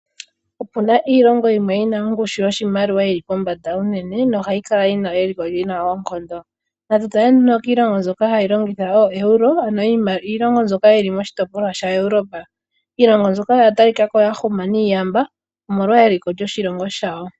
Opu na iilongo yimwe yi na ongushu yoshimaliwa yi li pombanda unene nohayi kala yi na eliko li na oonkondo. Natu tale nduno kiilongo mbyoka hayi longitha ooEuro, ano iilonga mbyoka yi li moshitopolwa shaEuropa. Iilongo mbyoka oya talika ko ya huma niiyamba, omolwa eliko lyoshilongo shawo.